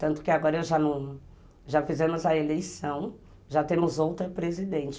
Tanto que agora já fizemos a eleição, já temos outra presidente.